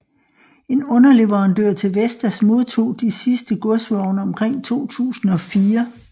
En underleverandør til Vestas modtog de sidste godsvogne omkring 2004